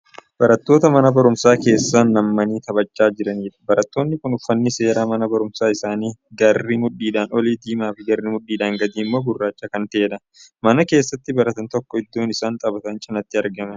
Barattoota mana barumsaa keessa naanna'anii taphachaa jiraniidha. barattoonni kunniin uffanni seera manaa barumsaa isaanii garri mudhiidhaan olii diimaafi garri mudhiidhaan gadii immoo gurraacha Kan ta'eedha. manni keessatti baratan tokko iddoo isaan taphatan cinaatti argama.